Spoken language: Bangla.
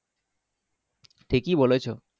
ঠিকি বলেছো।